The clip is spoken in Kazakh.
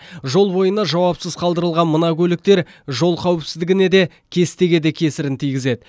жол бойына жауапсыз қалдырылған мына көліктер жол қауіпсіздігіне де кестеге де кесірін тигізеді